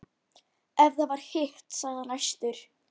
Ef það var hitt, sagði hann æstur: